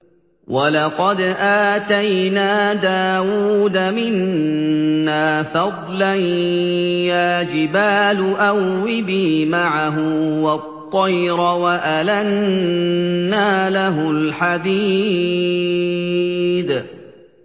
۞ وَلَقَدْ آتَيْنَا دَاوُودَ مِنَّا فَضْلًا ۖ يَا جِبَالُ أَوِّبِي مَعَهُ وَالطَّيْرَ ۖ وَأَلَنَّا لَهُ الْحَدِيدَ